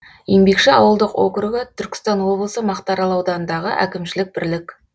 еңбекші ауылдық округі түркістан облысы мақтаарал ауданындағы әкімшілік бірлік